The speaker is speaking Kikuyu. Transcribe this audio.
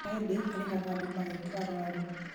no ĩndĩ arĩhaga andũ magetua arwaru